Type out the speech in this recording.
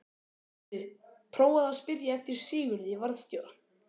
Heyrðu. prófaðu að spyrja eftir Sigurði varðstjóra.